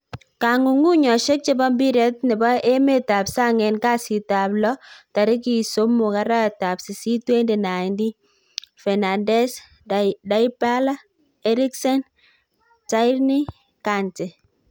Kong'ung'unyosiek chebo mpiret nebo emetab sang en kasitab lo tarigit 03/08/2019: Fernandes, Dybala, Eriksen, Tierney, Kante